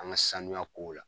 An ka sanuya kow la.